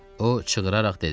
O çığıraraq dedi: